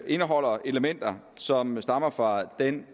indeholder elementer som stammer fra den